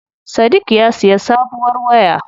Sadik ya siya sabuwar waya.